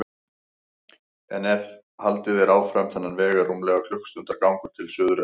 En ef haldið er áfram þennan veg er rúmlega klukkustundar gangur til Suðureyrar.